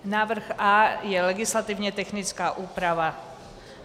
Návrh A je legislativně technická úprava.